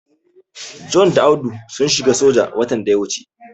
John da Audu sun shiga soja watan da ya wuce.